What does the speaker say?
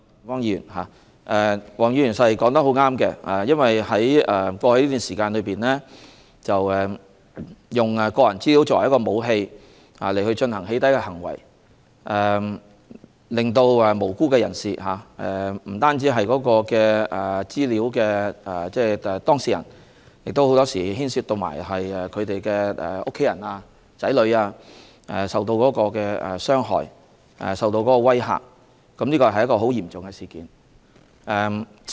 黃議員所說的十分正確，在過去這段時間，有人以個人資料作為一種武器，進行"起底"的行為，令無辜人士受害，因為不單是資料當事人受影響，很多時候還令他們的家人和子女同樣受到傷害和威嚇，這是很嚴重的事件。